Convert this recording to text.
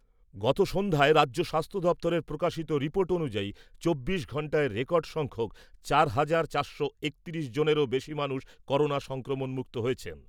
গত সন্ধ্যায় রাজ্য স্বাস্থ্য দপ্তরের প্রকাশিত রিপোর্ট অনুযায়ী, চব্বিশ ঘন্টায় রেকর্ড সংখ্যক, চার হাজার চারশো একত্রিশ জনেরও বেশি মানুষ করোনা সংক্রমণ মুক্ত হয়েছেন।